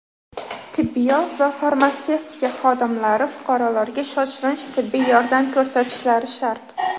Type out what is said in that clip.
Tibbiyot va farmatsevtika xodimlari fuqarolarga shoshilinch tibbiy yordam ko‘rsatishlari shart.